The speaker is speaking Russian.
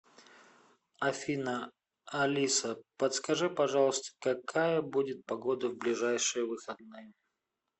афина алиса подскажи пожалуйста какая будет погода в ближайшие выходные